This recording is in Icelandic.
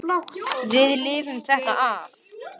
Við lifum þetta af.